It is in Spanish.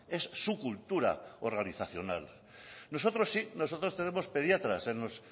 es su cultura organizacional nosotros sí nosotros tenemos pediatras en los